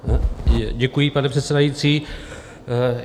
Děkuji, pane předsedající.